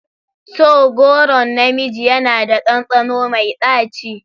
To! goron na miji yana da ɗanɗano mai ɗaci.